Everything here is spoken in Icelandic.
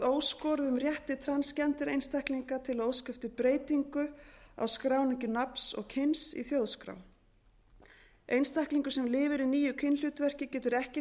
óskoruðum rétti transgender einstaklinga til að óska eftir breytingu á skráningu nafns og kyns í þjóðskrá einstaklingur sem lifir í nýju kynhlutverki getur ekki